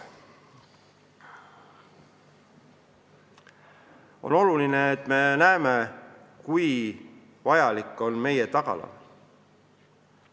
On oluline, et me näeme, kui vajalik on meie tagala.